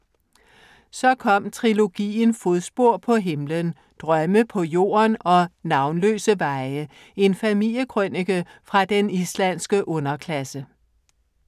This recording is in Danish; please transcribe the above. Så kom trilogien Fodspor på himlen, Drømme på jorden og Navnløse veje, en familiekrønike fra den islandske underklasse.